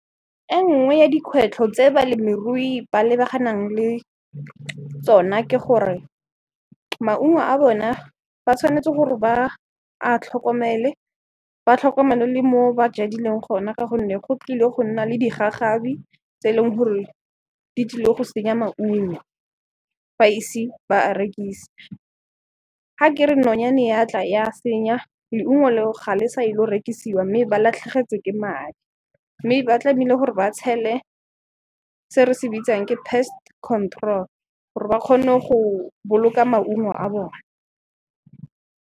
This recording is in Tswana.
E nngwe ya dikgwetlho tse balemirui ba lebaganang le tsona ke gore maungo a bona ba tshwanetse gore ba a tlhokomele, ba tlhokomele le mo ba jadileng gona ka gonne go tlile go nna le digagabi tse e leng gore di tsile go senya maungo fa ise ba a rekise. Ga kere nonyane ya tla ya senya, leungo leo ga le sa ilo rekisiwa mme ba latlhegetswe ke madi, mme ba tlameile gore ba tshele se re se bitsang ke pest control gore ba kgone go boloka maungo a bona.